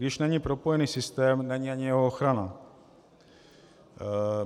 Když není propojený systém, není ani jeho ochrana.